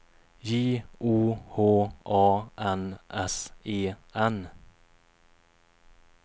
J O H A N S E N